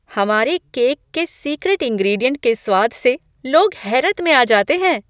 हमारे केक के secret ingredient के स्वाद से लोग हैरत में आ जाते हैं।